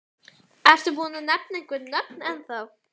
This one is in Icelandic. Ertu tilbúinn að nefna einhver nöfn ennþá?